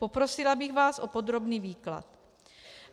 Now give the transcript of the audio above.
Poprosila bych vás o podrobný výklad.